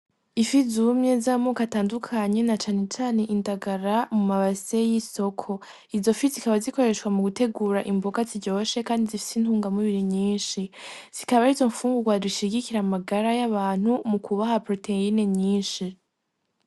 Ifi zumye z'amoko atandukanye na canecane indagara mu mabase y'isoko izofi zikaba zikoreshwa mu gutegura imboga ziryoshe kandi zifise intungamubiri nyishi, zikaba arizo mfungurwa dushigikira mu magara y'abantu mu kubaha poroteyine nyishi.